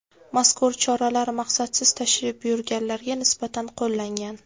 Mazkur choralar maqsadsiz tashrif buyurganlarga nisbatan qo‘llangan.